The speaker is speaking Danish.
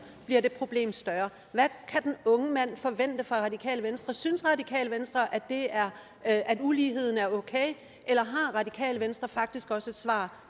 bliver det problem større hvad kan den unge mand forvente fra radikale venstre synes radikale venstre at uligheden er okay eller har radikale venstre faktisk også et svar